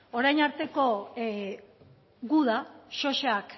orain arteko guda sosak